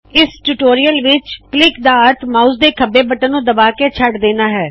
ਇਸ ਟਯੋਟੋਰਿਯਲ ਵਿੱਚ ਕਲਿੱਕ ਦਾ ਅਰਥ ਮਾਉਸ ਦੇ ਖੱਬੇ ਬਟਨ ਨੂੰ ਦਬਾ ਕੇ ਛੱਡ ਦੇਣਾ ਹੈ